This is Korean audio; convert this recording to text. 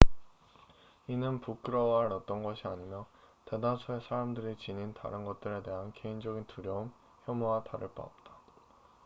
이는 부끄러워할 어떤 것이 아니며 대다수의 사람들이 지닌 다른 것들에 대한 개인적인 두려움 혐오와 다를 바가 없다